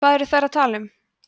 hvað eru þær að tala um